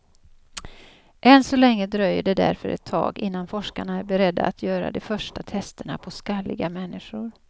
Än så länge dröjer det därför ett tag innan forskarna är beredda att göra de första testerna på skalliga människor.